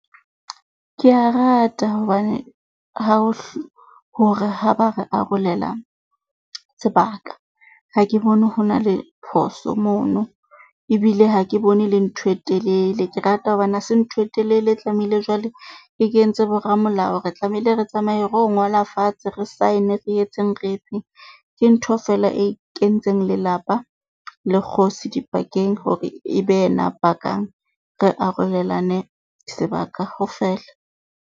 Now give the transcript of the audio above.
Ke a rata hobane ha hore ha ba re arolela sebaka. Ha ke bone ho na le phoso mono ebile ha ke bone e le ntho e telele. Ke rata hobane ha se ntho e telele e tlamehile jwale e kentse boramolao. Re tlamehile re tsamaye ro ngola fatshe re saene re etseng re etseng. Ke ntho feela e kentseng lelapa le kgosi dipakeng hore e be yena a pakang re arolelane sebaka ho fele.